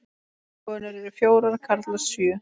Konur eru fjórar, karlar sjö.